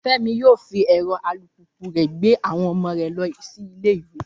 Fẹ́mi yóò fi ẹ̀rọ alùpùpù rẹ̀ gbé àwọn ọmọ rẹ̀ lọ sí ilé ìwé